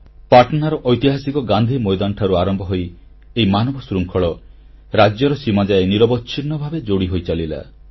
ପାଟନାର ଐତିହାସିକ ଗାନ୍ଧୀ ମୈଦାନଠାରୁ ଆରମ୍ଭ ହୋଇ ଏହି ମାନବଶୃଙ୍ଖଳ ରାଜ୍ୟର ସୀମାଯାଏ ନିରବଚ୍ଛିନ୍ନ ଭାବେ ଯୋଡ଼ି ହୋଇଚାଲିଲା